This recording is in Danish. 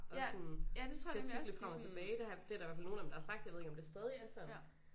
Og sådan skal cykle frem og tilbage det har det er der i hvert fald nogle af dem der har sagt jeg ved ikke om det stadig er sådan